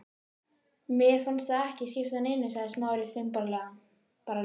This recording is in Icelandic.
Mér fannst það ekki skipta neinu sagði Smári þumbaralega.